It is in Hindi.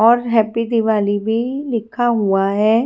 और हैप्पी दिवाली भी लिखा हुआ है।